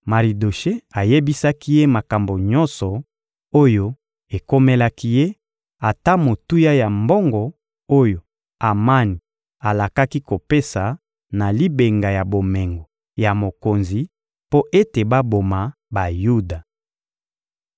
Maridoshe ayebisaki ye makambo nyonso oyo ekomelaki ye, ata motuya ya mbongo oyo Amani alakaki kopesa na libenga ya bomengo ya mokonzi mpo ete baboma Bayuda.